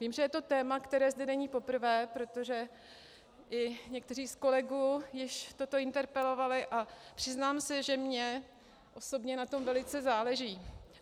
Vím, že je to téma, které zde není poprvé, protože i někteří z kolegů již toto interpelovali, a přiznám se, že mně osobně na tom velice záleží.